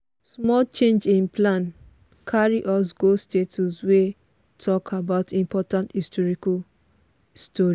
small change in plan carry us go statue wey talk about important historical story.